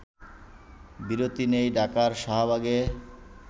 বিরতি নেই ঢাকার শাহবাগে